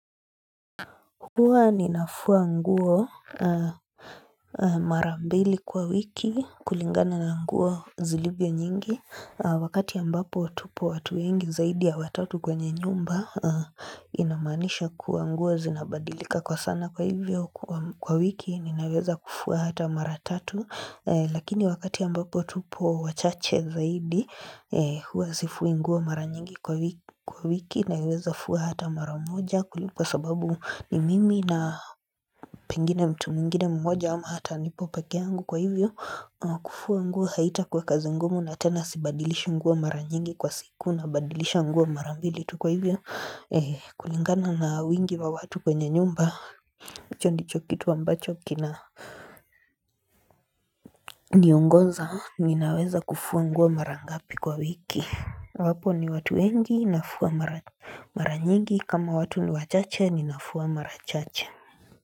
Huwa ninafua nguo mara mbili kwa wiki kulingana na nguo zilivyo nyingi Wakati ambapo tupo watu wengi zaidi ya watatu kwenye nyumba inamaanisha kuwa nguo zinabadilika kwa sana kwa hivyo kwa wiki Ninaweza kufua hata mara tatu Lakini wakati ambapo tupo wachache zaidi huwa zifui nguo mara nyingi kwa wiki naweza fua hata mara moja Kwa sababu ni mimi na pengine mtu mwingine mmoja ama hata nipo peke yangu kwa hivyo kufua nguo haitakuwa kazi ngumu na tena sibadilishi nguo mara nyingi kwa siku nabadilisha nguo mara mbili tu Kwa hivyo kulingana na wingi wa watu kwenye nyumba hicho ndicho kitu ambacho kina niongoza ninaweza kufua nguo mara ngapi kwa wiki wapo ni watu wengi nafua mara nyingi kama watu ni wachache ninafua mara chache.